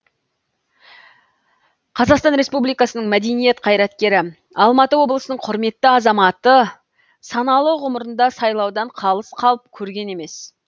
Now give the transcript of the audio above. қазақстан республикасының мәдениет қайраткері алматы облысының құрметті азаматы саналы ғұмырында сайлаудан қалыс қалып көрген емес